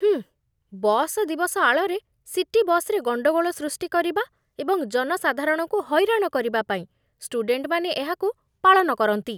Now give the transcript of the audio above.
ହୁଁ, ବସ୍ ଦିବସ ଆଳରେ ସିଟି ବସ୍‌ରେ ଗଣ୍ଡଗୋଳ ସୃଷ୍ଟି କରିବା ଏବଂ ଜନସାଧାରଣଙ୍କୁ ହଇରାଣ କରିବା ପାଇଁ ଷ୍ଟୁଡେଣ୍ଟମାନେ ଏହାକୁ ପାଳନ କରନ୍ତି।